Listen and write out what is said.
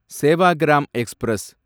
Sevagram express